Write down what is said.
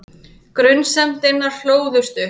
Grunsemdirnar hlóðust upp.